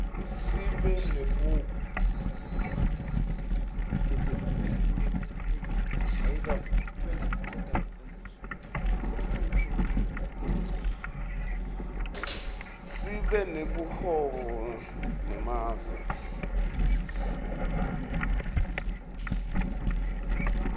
sibe nebuhobo nemave angephandle